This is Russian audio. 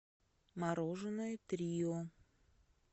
мороженое трио